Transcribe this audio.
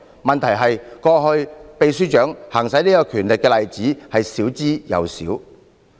問題是，過去秘書長行使這權力的例子極少。